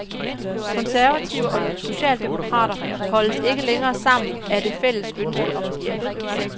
Konservative og socialdemokrater holdes ikke længere sammen af det fælles ønske om et ja.